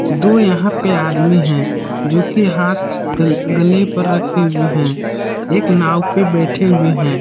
दो यहां पे आदमी हैं जो कि हाथ गल गले पर रखे हुए हैं एक नांव पे बैठे हुए हैं।